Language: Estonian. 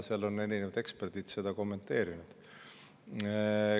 Seal on erinevad eksperdid seda kommenteerinud.